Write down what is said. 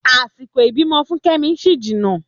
Àsìkò ìbímọ fún Kẹ́mi ṣì jìnà